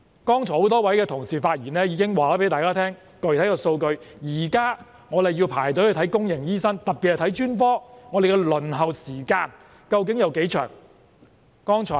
剛才多位發言的同事已經向大家提供了具體數據，現時若要輪候看公營醫院醫生，特別是專科，輪候時間究竟有多長呢？